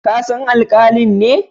Ka san alkalin ne?